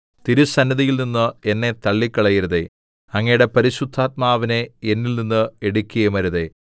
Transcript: തിരുസന്നിധിയിൽനിന്ന് എന്നെ തള്ളിക്കളയരുതേ അങ്ങയുടെ പരിശുദ്ധാത്മാവിനെ എന്നിൽനിന്ന് എടുക്കുകയുമരുതേ